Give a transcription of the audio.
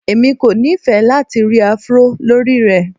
Èmi kò nifẹ́ lati ri Afro lórí rẹ.